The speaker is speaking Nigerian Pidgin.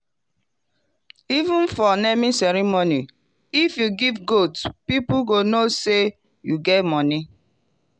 even for naming ceremony if you give goat people go know say you get money.